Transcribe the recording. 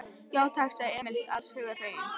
Já, takk, sagði Emil alls hugar feginn.